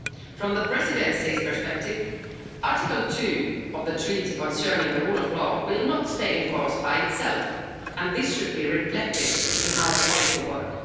From the Presidency's perspective, Article 2 of the Treaty concerning the rule of law will not stay in force by itself, and this should be reflected in our policy work.